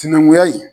Sinankunya in